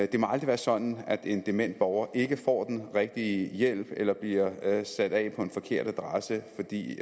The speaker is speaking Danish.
det må aldrig være sådan at en dement borger ikke får den rigtige hjælp eller bliver sat af på en forkert adresse fordi